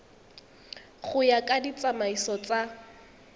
go ya ka ditsamaiso tsa